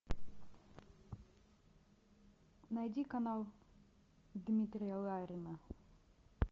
найди канал дмитрия ларина